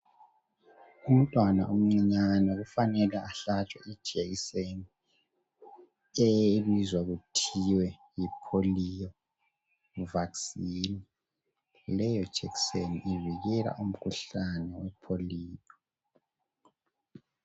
Umntwana omncinyane kufanele ahlatshwe ijekiseni ebizwa kuthiwa yi polio vaccine. Leyo jekiseni ivikela umkhuhlane wepolio.